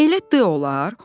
"Elə D olar?